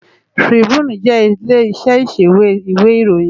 Trìbúní jè ilé iṣè iṣéwé iwé iróyìn